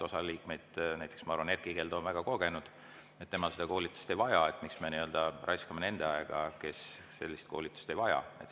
Osa liikmeid – näiteks ma arvan, Erkki Keldo – on väga kogenud, nemad seda koolitust ei vaja, ja miks me siis nii-öelda raiskame nende aega, kes sellist koolitust ei vaja.